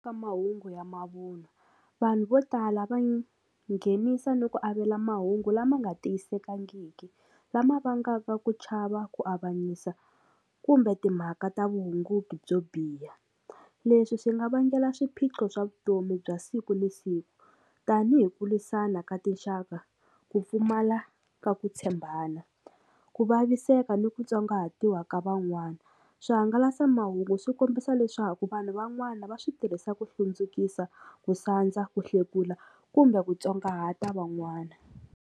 Ka mahungu ya mavun'wa vanhu vo tala va nga nghenisa ni ku avela mahungu lama nga tiyisekangiki lama vangaka ku chava ku avanyisa kumbe timhaka ta vuhunguki byo biha leswi swi nga vangela swiphiqo swa vutomi bya siku na siku tanihi ku lwisana ka tinxaka ku pfumala ka ku tshembana ku vaviseka ni ku tsongahatiwa ka van'wana swihangalasamahungu swi kombisa leswaku vanhu van'wana va swi tirhisa ku hlundzukisaka ku sandza ku hlekula kumbe ku tsongahata van'wana.